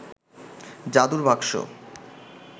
জাদুর বাক্স